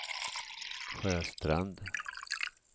Sjöstrand